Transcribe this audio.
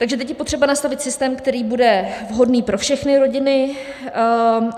Takže teď je potřeba nastavit systém, který bude vhodný pro všechny rodiny.